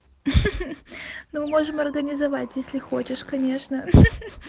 ха-ха ну можем организовать если хочешь конечно ха-ха